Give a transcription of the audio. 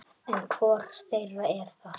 En hvor þeirra er það?